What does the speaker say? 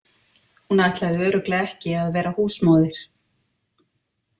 Hún ætlaði örugglega ekki að vera húsmóðir.